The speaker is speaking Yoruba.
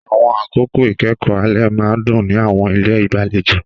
Àwọn àkókò ìkẹ́kọ̀ọ́ alẹ́ máa ń dún ní àwọn ilé ìgbàlejò.